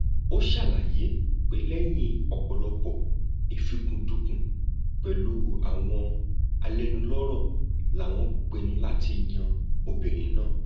ó ṣàlàyé pé lẹyìn ọpọlọpọ ìfúkúndùnkùn pẹlú àwọn alẹnulọrọ làwọn pinnu láti yan obìnrin náà